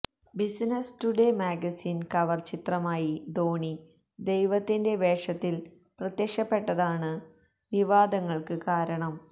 business Today magazine cover ചിത്രമായി ധോണി ദൈവത്തിന്റെ വേഷത്തില് പ്രത്യക്ഷപ്പെട്ടതാണ് വിവാദങ്ങള്ക്ക് കാരണം